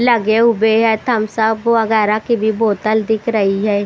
लगे हुए हैं थम्स अप वगैरा की भी बोतल दिख रही है।